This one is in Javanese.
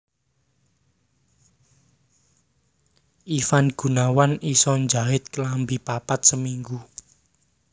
Ivan Gunawan iso njait klambi papat seminggu